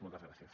moltes gràcies